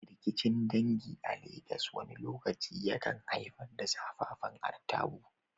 Rikicin dangi a Legas wani lokaci yakan haifar da zafafan artabu.